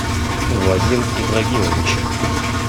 вадим ибрагимович